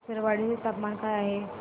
विसरवाडी चे तापमान काय आहे